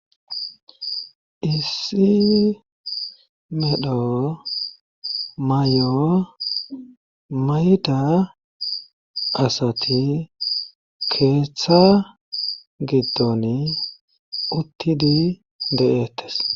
Issi medho may'o mayda asati keeththa giddon uttidi de'ettes.